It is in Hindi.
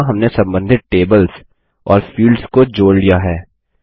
यहाँ हमने सम्बन्धित टेबल्स और फील्ड्स को जोड़ लिया है